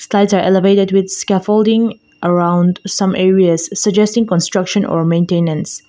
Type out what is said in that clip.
tiles are elevated with scaffolding around some areas suggesting construction or maintains.